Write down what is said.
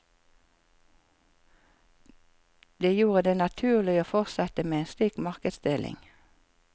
Det gjorde det naturlig å fortsette med en slik markedsdeling.